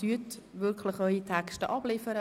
Bitte liefern Sie Ihre Texte ab.